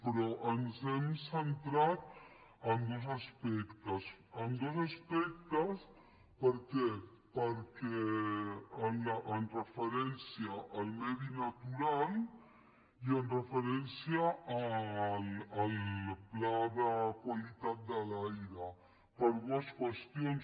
però ens hem centrat en dos aspectes en dos aspectes per què amb referència al medi natural i amb referència al pla de qualitat de l’aire per d ues qüestions